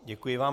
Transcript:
Děkuji vám.